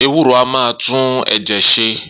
Ewúro a máa tún ẹ̀jẹ̀ ṣe